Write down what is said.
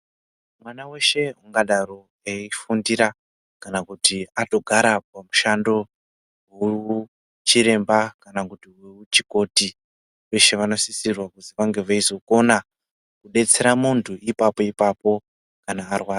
Mwana weshe angadaro eifundira kana kuti atogara pamushando weuchiremba kana kuti weuchikoti veshe vanosisirwa kuti vange veizokona kudetsera muntu ipapo ipapo kana varwara.